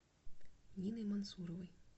ниной мансуровой